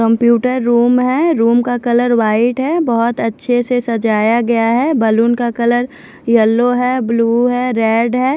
Computer room है room का colour white है बहुत अच्छे से सजाया गया है बैलून का कलर यलो है ब्लू है रेड है।